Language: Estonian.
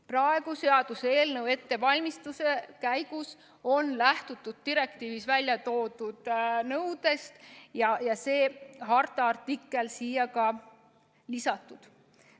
Praegu selle seaduseelnõu ettevalmistamise käigus on lähtutud direktiivis välja toodud nõudest ja ka see harta artikkel on siia lisatud.